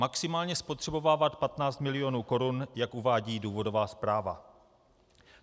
Maximálně spotřebovávat 15 mil. korun, jak uvádí důvodová zpráva.